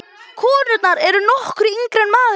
Konurnar eru nokkru yngri en maðurinn.